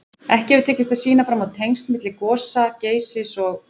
Ekki hefur tekist að sýna fram á tengsl milli gosa Geysis og